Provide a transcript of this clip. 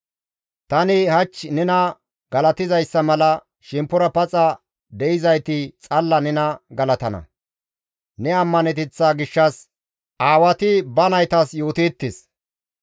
Tani hach nena galatizayssa mala shemppora paxa de7izayti xalla nena galatana; ne ammaneteththa gishshas aawati ba naytas yooteettes.